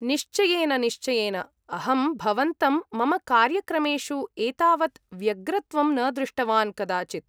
निश्चयेन निश्चयेन, अहं भवन्तं मम कार्यक्रमेषु एतावत् व्यग्रत्वं न दृष्टवान् कदाचिद्!